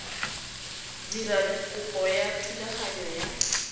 dira kopo ya thulaganyo ya